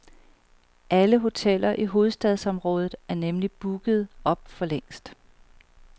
Alle hoteller i hovedstadsområdet er nemlig booket op forlængst.